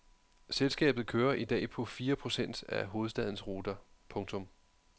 Selskabet kører i dag på fire procent af hovedstadens ruter. punktum